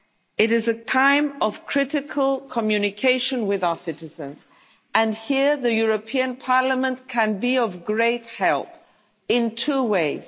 It is a time of critical communication with our citizens and here Parliament can be of great help in two